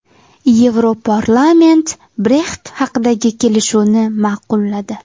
Yevroparlament Brexit haqidagi kelishuvni ma’qulladi.